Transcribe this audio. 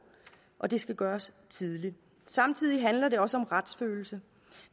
og det skal gøres tidligt samtidig handler det også om retsfølelse